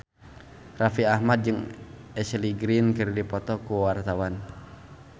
Raffi Ahmad jeung Ashley Greene keur dipoto ku wartawan